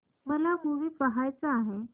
मला मूवी पहायचा आहे